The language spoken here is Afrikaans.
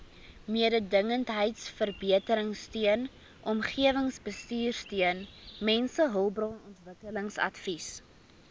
mededingendheidsverbeteringsteun omgewingsbestuursteun mensehulpbronontwikkelingsadvies